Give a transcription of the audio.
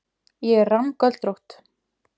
Ég er rammgöldrótt.